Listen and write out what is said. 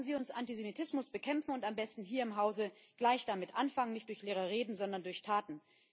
Lassen Sie uns Antisemitismus bekämpfen und am besten hier im Hause gleich damit anfangen nicht durch leere Reden, sondern durch Taten.